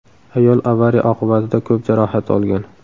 Ayol avariya oqibatida ko‘p jarohat olgan.